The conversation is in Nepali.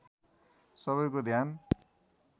सबैको ध्यान